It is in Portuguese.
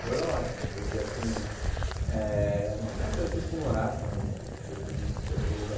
Foi ótimo, porque assim eh... Não só em Francisco Morato, mas eu creio que em todo lugar.